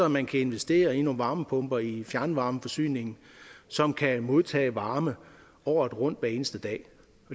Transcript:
man kan investere i nogle varmepumper i fjernvarmeforsyningen som kan modtage varme året rundt hver eneste dag